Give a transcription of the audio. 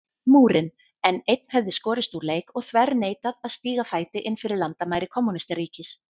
Múrinn, en einn hefði skorist úr leik og þverneitað að stíga fæti innfyrir landamæri kommúnistaríkis.